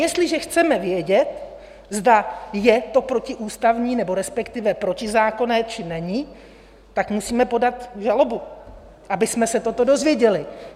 Jestliže chceme vědět, zda je to protiústavní, nebo respektive protizákonné, či není, tak musíme podat žalobu, abychom se toto dozvěděli.